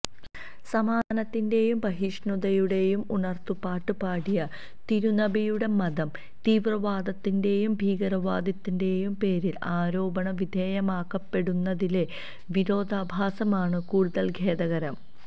സമാധാനത്തിന്റെയും സഹിഷ്ണുതയുടെയും ഉണര്ത്തുപാട്ട് പാടിയ തിരുനബിയുടെ മതം തീവ്രവാദത്തിന്റെയും ഭീകരവാദത്തിന്റെയും പേരില് ആരോപണ വിധേയമാക്കപ്പെടുന്നതിലെ വിരോധാഭാസമാണ് കൂടുതല് ഖേദകരം